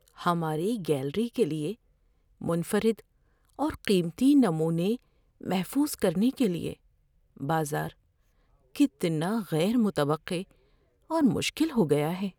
ہماری گیلری کے لیے منفرد اور قیمتی نمونے محفوظ کرنے کے لیے بازار کتنا غیر متوقع اور مشکل ہو گیا ہے۔